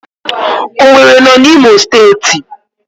Owerri no na Imo steeti